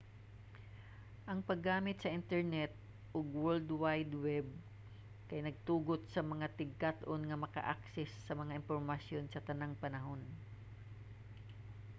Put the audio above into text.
ang paggamit sa internet ug world wide web kay nagatugot sa mga tigkat-on nga magka-access sa mga impormasyon sa tanang panahon